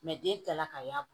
den kilala ka y'a bɔ